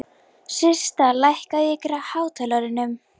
Systa, lækkaðu í hátalaranum.